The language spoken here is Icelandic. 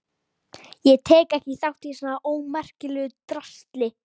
Ég tek ekki þátt í svona ómerkilegu drasli.